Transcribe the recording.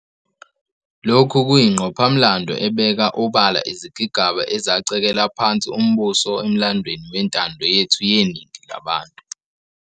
Lokhu kuyingqophamlando ebeka obala izigigaba ezacekela phansi umbuso emlandweni wentando yethu yeningi labantu.